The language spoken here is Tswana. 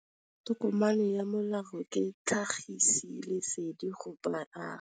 Tokomane ya molao ke tlhagisi lesedi go baagi.